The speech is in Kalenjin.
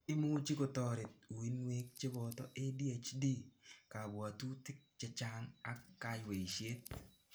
Imuchi kotoret uinwek cheboto adhd, kabwatutik chechang ak kayweishet.